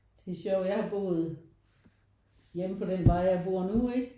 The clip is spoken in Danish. Det er sjovt jeg har boet hjemme på den vej jeg bor nu ikke